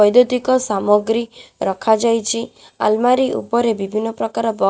ବୈଦୁଦତିକ ସାମଗ୍ରୀ ରଖାଯାଇଛି ଆଲମାରି ଉପରେ ବିଭିନ୍ନ ପ୍ରକାର ବ--